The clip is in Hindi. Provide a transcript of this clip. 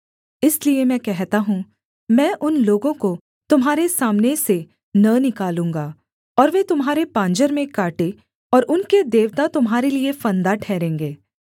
इसलिए मैं कहता हूँ मैं उन लोगों को तुम्हारे सामने से न निकालूँगा और वे तुम्हारे पाँजर में काँटे और उनके देवता तुम्हारे लिये फंदा ठहरेंगे